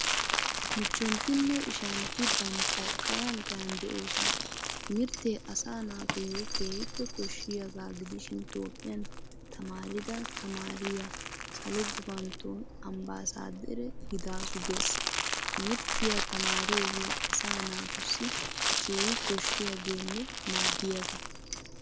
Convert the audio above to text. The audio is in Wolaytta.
Michchoontinne ishshanti bantta kaayan kaayan de"oosona. Timirtte asaa naatuyo keehippe kooshshiyaga giidishin toophphiyaan taamarida taamariya salo guufantton ambasadare gidaasu gees. Timirtiya taamariyooge asaa naatusi keehi kooshiyaagenne maaddiyaaga